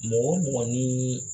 Mɔgɔ o mɔgɔ ni